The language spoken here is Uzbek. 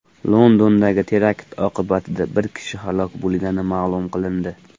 Londondagi terakt oqibatida bir kishi halok bo‘lgani ma’lum qilindi.